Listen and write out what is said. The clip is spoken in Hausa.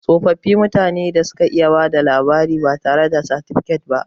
Tsofi mutane ne da suka iya bada labari batare da satifikat ba